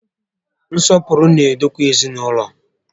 Nsọpụrụ na-edokwa ezinaụlọ